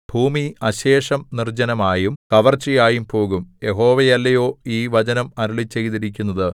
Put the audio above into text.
ഭൂമി അശേഷം നിർജ്ജനമായും കവർച്ചയായും പോകും യഹോവയല്ലയോ ഈ വചനം അരുളിച്ചെയ്തിരിക്കുന്നത്